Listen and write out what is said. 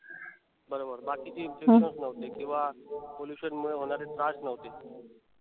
बरोबर. बाकीचे intutions हम्म नव्हते किंवा pollution मुळे होणारे त्रास नव्हते.